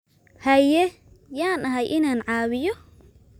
Haye, yaan ahay inaan caawiyo?